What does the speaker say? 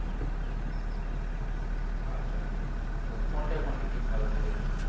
আচ্ছা তো কোনটায় quantity ভালো থাকে?